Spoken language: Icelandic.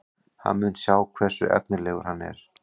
Hann mun sjá hversu efnilegur hann er.